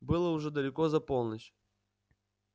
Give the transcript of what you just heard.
было уже далеко за полночь